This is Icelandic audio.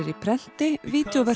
á prenti